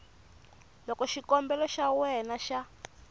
loko xikombelo xa wena xa